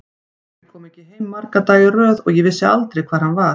Pabbi kom ekki heim marga daga í röð og ég vissi aldrei hvar hann var.